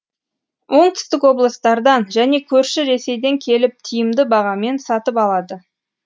оңтүстік облыстардан және көрші ресейден келіп тиімді бағамен сатып алады